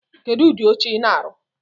Kedu udi oche I na-arụ̣?